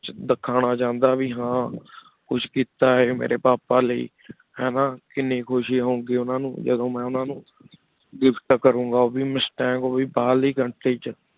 ਦੇਖਣਾ ਚਾਹੰਦਾ ਭੀ ਹਨ ਕੁਛ ਕੀਤਾ ਆਯ ਮੇਰੇ ਪਾਪਾ ਲਾਏ ਹੈਨਾ ਕੀਨੀ ਖੁਸ਼ੀ ਹੋਏ ਗੀ ਓਹਨਾ ਨੂ ਜਿਦੋ ਮੈਂ ਓਹਨਾ ਨੂ gift ਕਰੋਂ ਗਾ ਮੁਸ਼੍ਤਾੰਗ ਓਹ ਵੇ ਬਹਿਰ country ਵਿਚ